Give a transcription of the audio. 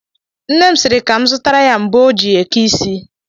Nne m sịrị ka m zụtara ya mbọ o ji eke isi